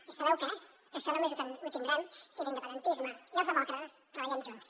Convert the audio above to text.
i sabeu què que això només ho tindrem si l’independentisme i els demòcrates treballem junts